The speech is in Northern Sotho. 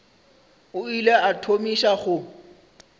o ile a thomiša go